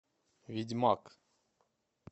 ведьмак